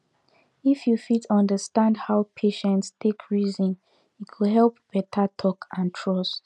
if you fit understand how patient take reason e go help better talk and trust